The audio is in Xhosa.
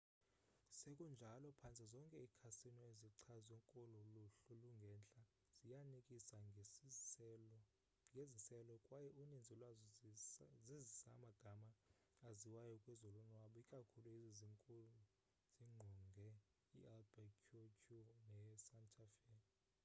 sekunjalo phantse zonke iikhasino ezichazwe kolu luhlu lungentla ziyanikisa ngeziselo kwaye uninzi lwazo zizisa amagama aziwayo kwezolonwabo ikakhulu ezi zinkulu zingqonge i-albuquerque ne santa fe